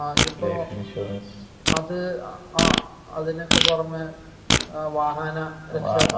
ആ ഇതിപ്പോ അത് ആ അതിനൊക്കെ പുറമെ വാഹന രക്ഷാ